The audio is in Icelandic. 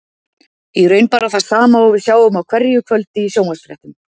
Í raun bara það sama og við sjáum á hverju kvöldi í sjónvarpsfréttum.